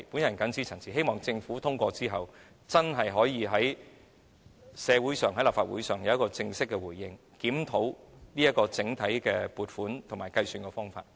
我謹此陳辭，希望決議案獲得通過後，政府可以向社會及立法會給予正式回應，檢討整體撥款和計算方法。